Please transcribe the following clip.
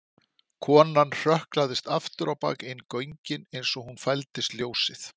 Konan hrökklaðist afturábak inn göngin eins og hún fældist ljósið.